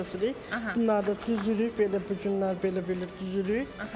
Daşları kəsirik, bunları da düzürük, belə bu günlər belə-belə düzürük.